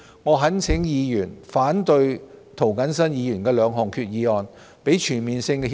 我們懇請議員反對涂謹申議員提出的兩項決議案，讓這兩份全面性協定早日落實。